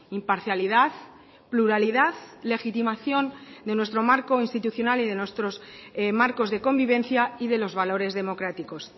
imparcialidad pluralidad legitimación de nuestro marco institucional y de nuestros marcos de convivencia y de los valores democráticos